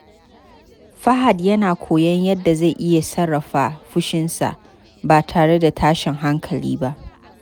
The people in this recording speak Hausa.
Fahad yana koyon yadda zai iya sarrafa fushinsa ba tare da tashin hankali ba.